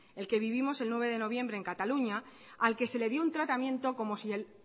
el que vivimos el nueve de noviembre en cataluña al que se le dio un tratamiento como si el